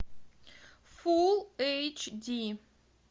фул эйч ди